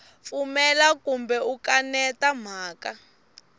pfumela kumbe u kaneta mhaka